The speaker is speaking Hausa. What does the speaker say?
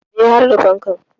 E, har da fankar.